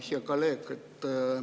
Hea kolleeg!